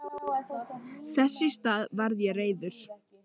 Þess í stað varð ég reiður.